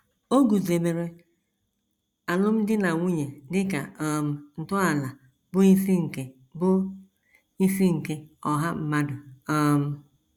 O guzobere alụmdi na nwunye dị ka um ntọala bụ́ isi nke bụ́ isi nke ọha mmadụ um.